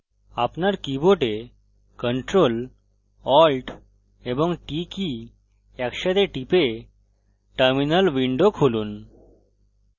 আপনার keyboard ctrl alt এবং t key একসাথে টিপে terminal window খুলুন